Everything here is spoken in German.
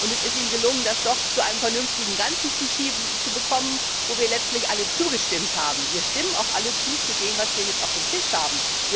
Es ist ihm gelungen, das zu einem vernünftigen Ganzen zu bekommen, dem wir letztlich alle zugestimmt haben. Wir stimmen auch alle zu bei dem, was wir jetzt auf dem Tisch haben.